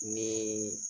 Ni